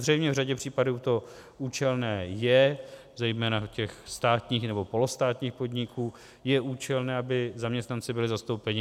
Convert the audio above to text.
Zřejmě v řadě případů to účelné je, zejména u státních nebo polostátních podniků je účelné, aby zaměstnanci byli zastoupeni.